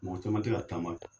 Mɔ caman te ka taama